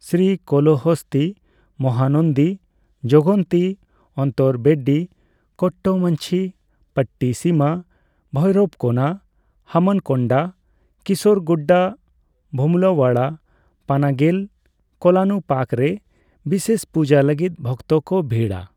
ᱥᱨᱤ ᱠᱚᱞᱚᱦᱚᱥᱛᱤ, ᱢᱚᱦᱟᱱᱚᱱᱫᱤ, ᱡᱚᱜᱚᱱᱛᱤ, ᱚᱱᱛᱚᱨᱵᱮᱫᱰᱤ, ᱠᱚᱴᱴᱚᱢᱚᱧᱪᱤ, ᱯᱚᱴᱴᱤᱥᱤᱢᱟ, ᱵᱷᱳᱭᱨᱚᱵᱠᱳᱱᱟ, ᱦᱟᱱᱚᱢᱠᱳᱱᱰᱟ, ᱠᱤᱥᱚᱨᱜᱩᱰᱰᱟ, ᱵᱷᱮᱢᱩᱞᱟᱣᱟᱲᱟ, ᱯᱟᱱᱟᱜᱚᱞ, ᱠᱳᱞᱟᱱᱩᱯᱟᱠ ᱨᱮ ᱵᱤᱥᱮᱥ ᱯᱩᱡᱟᱹ ᱞᱟᱹᱜᱤᱫ ᱵᱷᱚᱠᱛᱚ ᱠᱚ ᱵᱷᱤᱲᱼᱟ ᱾